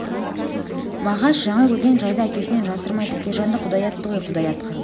мағаш жаңа көрген жайды әкесінен жасырмай тәкежанды құдай атты ғой құдай атқырды